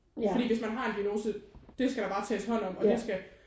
Fordi hvis man har en diagnose det skal der bare tages hånd om og det skal